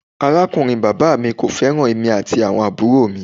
Arakunrin baba mi ko feran emi ati awon aburo mi.